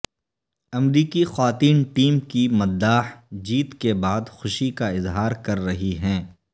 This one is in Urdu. امریکی خواتین ٹیم کی مداح جیت کے بعد خوشی کا اظہار کر رہی ہیں